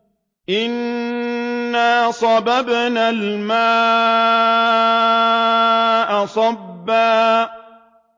أَنَّا صَبَبْنَا الْمَاءَ صَبًّا